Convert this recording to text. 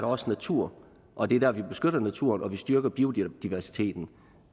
også natur og det er der vi beskytter naturen og styrker biodiversiteten